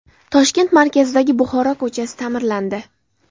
Toshkent markazidagi Buxoro ko‘chasi ta’mirlandi .